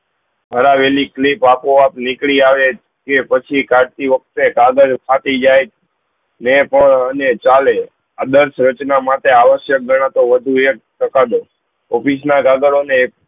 હરાવેલી કલીપ આપો આપ નીકળી આવે તે પછી કાળથી વખતે કાગળ ફાટી જાય અને જહાલો આ દરસ રચના માટે અવાશક ગણાતો વધુ એક office માં એક